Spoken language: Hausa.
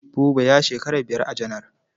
Buba ya shekara biyar a janar.